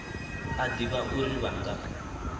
a ḓivha uri vha nga